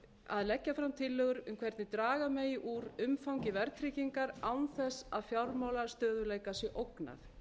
að leggja fram tillögur um hvernig draga megi úr umfangi verðtryggingar án þess að fjármálastöðugleika sé ógnað